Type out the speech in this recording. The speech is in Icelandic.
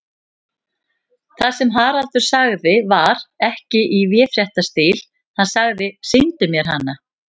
Það sem Haraldur sagði var ekki í véfréttarstíl, hann sagði: Sýndu mér hana.